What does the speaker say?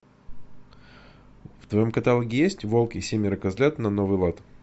в твоем каталоге есть волк и семеро козлят на новый лад